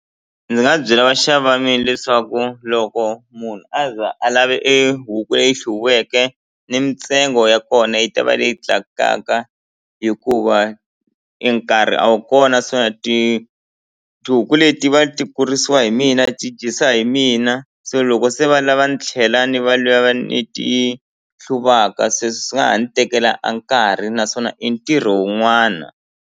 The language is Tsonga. Ndzi nga byela vaxavi va mina leswaku loko munhu a za a lave e huku leyi hluviweke ni mintsengo ya kona yi ta va leyi tlakukaka hikuva e nkarhi a wu kona se tihuku le ti va ti kurisiwa hi mina ti dyisa hi mina se loko se va lava ni tlhela ni va ni ti hluvaka se swi nga ha ni tekela a nkarhi naswona i ntirho wun'wana.